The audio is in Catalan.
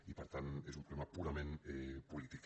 i per tant és un problema purament polític